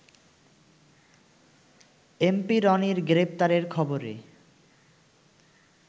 MP রনির গ্রেপ্তারের খবরে